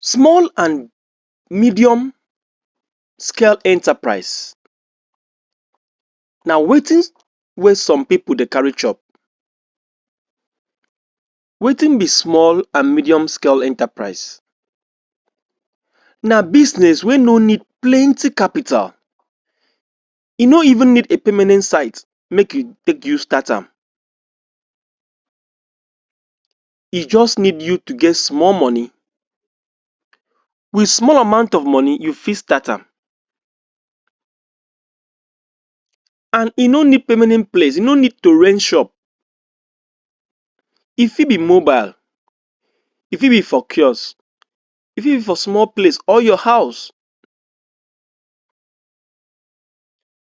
Small and medium scale enterprise na wetin wey some people dey carry chop. Wetin be small and medium scale enterprise? na bisnes wey no need plenty kapital e no evn need a permanent site make you, make use start am e just need you to get small money. Wit small amount of money, you fit start am and e no need permanent place, e no need to rent shop e fit be mobile, e fit be for kiosk, e fit be for small place or your house.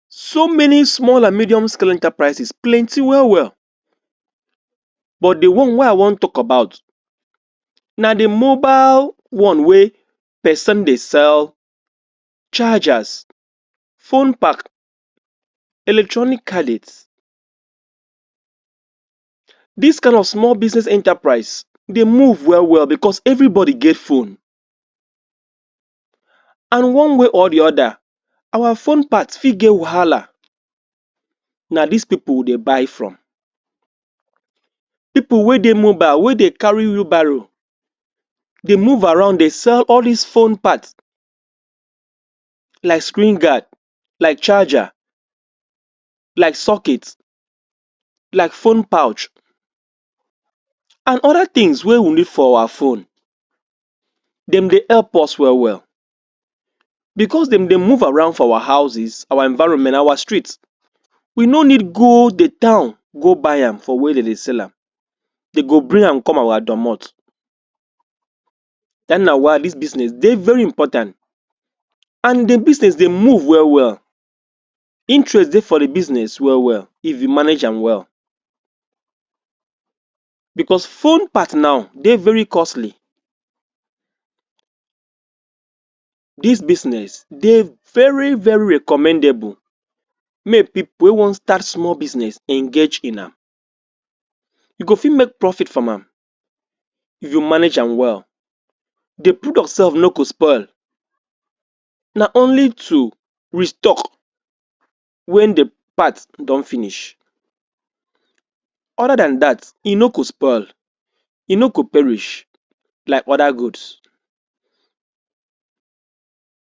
So many small and medium scale enterprises plenty wel wel, but, di one wey i wan tok about na di mobile one wey pesin dey sell chargers, phone pack electronic gadgets. Dis kain of small scale bisnes enterprise dey move wel wel bicos evribody get phone and one way or di oda our phone parts fit get wahala na dis pipo wey dey buy from pipo wey dey mobile, wey dey carry wheelbarrow dey move around dey sell all dis phone parts like screen guards like charger like sockets like phone pouch and oda tins wey we need for our phones, dem dey help us wel wel. bicos dem dey move around for our houses, our environment, our street we no need go di town go buy am for where dem dey sell am dem go bring am come our dormot, den na why dis bisnes dey very important and di bisnes dey move wel wel interest dey for di bisnes wel wel if you manage am well Bicos phone parts naw dey very costly dis bisnes dey very very recommendable make pipo wey wan start small bisnes engage in am you go fit make profit from am if you manage am well di products sef no go spoil na only to restock wen di parts don finish oda dan dat e no go spoil e no go perish like oda goods.